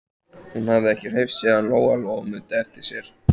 Hún hafði ekki hreyfst síðan Lóa-Lóa mundi eftir sér.